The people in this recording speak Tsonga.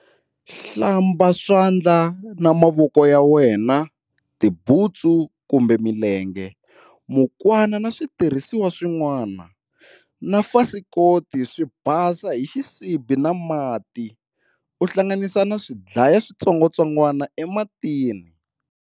Hlamba swandla na mavoko ya wena, tibuntsu kumbe milenge, mukwana na switirhisiwa swin'wana, na fasikoti swi basa hi xisibi na mati, u hlanganisa na swi dlaya switsongwatsongwana ematini.